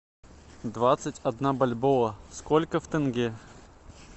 двадцать одна бальбоа сколько в тенге